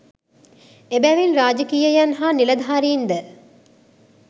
එබැවින් රාජකීයයන් හා නිලධාරීන්ද